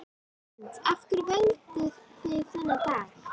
Hrund: Af hverju völduð þið þennan dag?